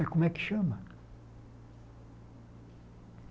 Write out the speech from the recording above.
Como é que chama?